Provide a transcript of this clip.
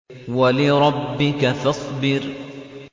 وَلِرَبِّكَ فَاصْبِرْ